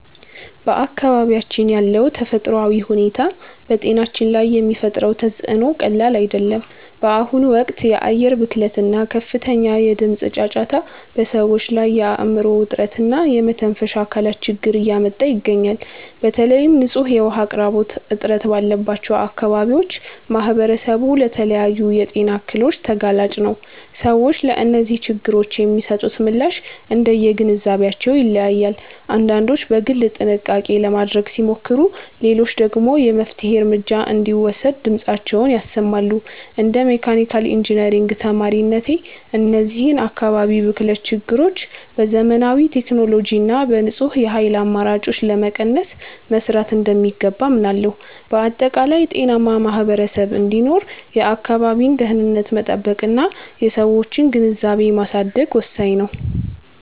በአካባቢያችን ያለው ተፈጥሯዊ ሁኔታ በጤናችን ላይ የሚፈጥረው ተፅዕኖ ቀላል አይደለም። በአሁኑ ወቅት የአየር ብክለት እና ከፍተኛ የድምፅ ጫጫታ በሰዎች ላይ የአእምሮ ውጥረት እና የመተንፈሻ አካላት ችግር እያመጣ ይገኛል። በተለይም ንጹህ የውኃ አቅርቦት እጥረት ባለባቸው አካባቢዎች ማኅበረሰቡ ለተለያዩ የጤና እክሎች ተጋላጭ ነው። ሰዎች ለእነዚህ ችግሮች የሚሰጡት ምላሽ እንደየግንዛቤያቸው ይለያያል፤ አንዳንዶች በግል ጥንቃቄ ለማድረግ ሲሞክሩ፣ ሌሎች ደግሞ የመፍትሔ እርምጃ እንዲወሰድ ድምፃቸውን ያሰማሉ። እንደ መካኒካል ኢንጂነሪንግ ተማሪነቴ፣ እነዚህን የአካባቢ ብክለት ችግሮች በዘመናዊ ቴክኖሎጂ እና በንጹህ የኃይል አማራጮች ለመቀነስ መሥራት እንደሚገባ አምናለሁ። በአጠቃላይ፣ ጤናማ ማኅበረሰብ እንዲኖር የአካባቢን ደኅንነት መጠበቅና የሰዎችን ግንዛቤ ማሳደግ ወሳኝ ነው።